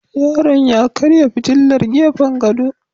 Yaron ya karya fitilar gefen gado